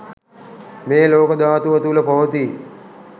මේ ලෝක ධාතුව තුළ පවතී.